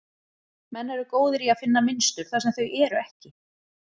Menn eru góðir í að finna mynstur þar sem þau eru ekki.